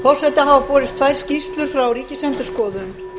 forseta hafa borist tvær skýrslur frá ríkisendurskoðun